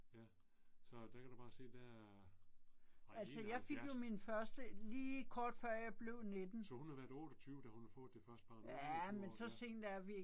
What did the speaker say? Ja. Så der kan du bare se der er. Ej i 71. Så hun har været 28 da hun har fået det første barn 28 år ja